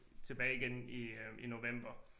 Tilbage igen i øh i november